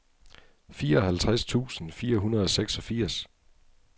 fireoghalvtreds tusind fire hundrede og seksogfirs